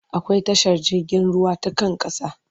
Akwai tashar jirgin ruwa ta kan ƙasa.